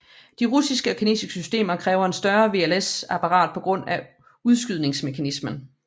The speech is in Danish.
De russiske og kinesiske systemer kræver et større VLS apparat på grund af udskydningsmekanismen